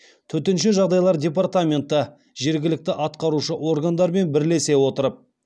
төтенше жағдайлар департаменті жергілікті атқарушы органдармен бірлесе отырып